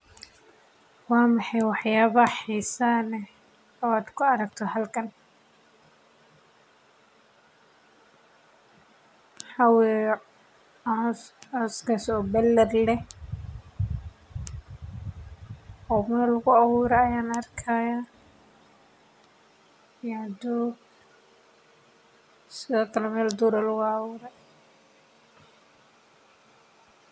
Waa maxay wax yaabaha xiisaha leh oo aad ku aragto halkan waxaa iiga muuqda sawiir wuxuu mujinaaya koox dad ah oo lagu soo bandige xog wadaaga aqoonta inta lagu jiro waxaa.